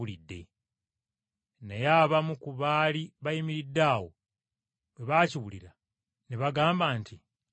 Naye abamu ku baali bayimiridde awo bwe baakiwulira ne bagamba nti, “Ayita Eriya.”